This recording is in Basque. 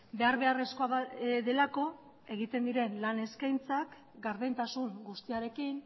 behar beharrezkoa delako egiten diren lan eskaintzak gardentasun guztiarekin